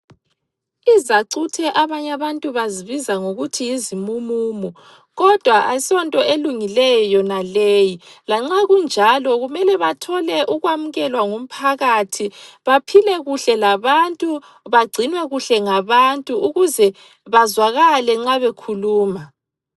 Izacuthe abanye abantu bazibiza ngokuthi yizimumumu, kodwa asonto elungileyo yonaleyi. Lanxa kunjalo kumele bathole ukwamukelwa ngumphakathi, baphile kuhle labantu, bagcinwe kuhle ngabantu ukuze bazwakale nxa bekhuluma.